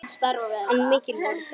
En mikil voru þau.